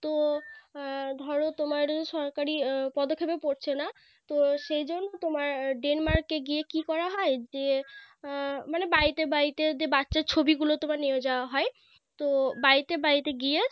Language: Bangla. তো ধরো তোমার সরকারি পদক্ষেপে পড়ছে না তো সেজন্য তোমার Denmark এ গিয়ে কি করা হয় যে মানে বাড়িতে বাড়িতে যদি বাচ্চার ছবি গুলো তোমার নিয়ে যাওয়া হয় তো বাড়িতে বাড়িতে গিয়ে